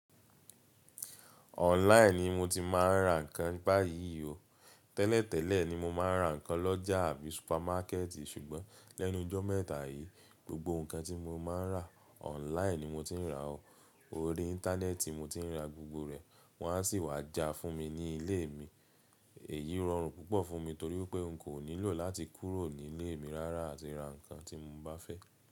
Online ni mo ti máa ń rà ǹkan báyìí o. Tẹ́lẹ̀tẹ́lẹ̀ ni mo máa ń rà ǹkan lọ́jà àbí supermákẹ̀ẹ̀tì ṣùgbọ́n lẹ́nu jọ́ mẹ́ta yìí, gbogbo ǹkan tí mo máa ń rà, online ni mo ti ń rà o. Orí íńtánẹ́ẹ̀tì mo ti ń rà gbogbo rẹ̀, wọ́n a sì wá já fún mi ní ilé mi. Èyí rọrùn púpọ̀ fún mi torí pé n kò nílò láti kúrò ní ilé mi rárá àti ra ǹkan tí mo bá fẹ́.